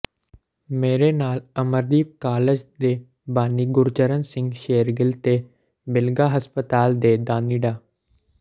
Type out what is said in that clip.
ਮੇਰੇ ਨਾਲਅਮਰਦੀਪਕਾਲਜ ਦੇ ਬਾਨੀ ਗੁਰਚਰਨ ਸਿੰਘ ਸ਼ੇਰਗਿੱਲ ਤੇ ਬਿਲਗਾਹਸਪਤਾਲ ਦੇ ਦਾਨੀਡਾ